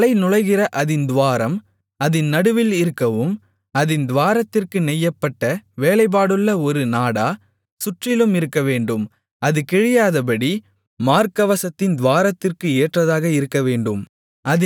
தலை நுழைகிற அதின் துவாரம் அதின் நடுவில் இருக்கவும் அதின் துவாரத்திற்கு நெய்யப்பட்ட வேலைப்பாடுள்ள ஒரு நாடா சுற்றிலும் இருக்கவேண்டும் அது கிழியாதபடி மார்க்கவசத்தின் துவாரத்திற்கு ஏற்றதாக இருக்கவேண்டும்